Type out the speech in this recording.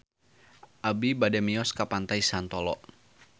Abi bade mios ka Pantai Santolo